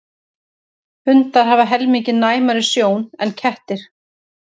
Hundar hafa helmingi næmari sjón en kettir.